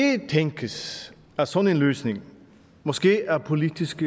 tænkes at sådan en løsning måske af politisk